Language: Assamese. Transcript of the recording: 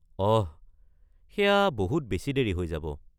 অহ, সেয়া বহুত বেছি দেৰি হৈ যাব।